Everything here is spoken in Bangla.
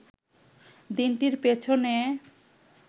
দিনটির পেছনে